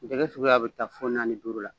Jɛgɛ suguya bi taa fɔ naani duuru la